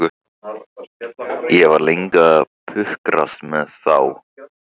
Ég var lengi að pukrast með þá.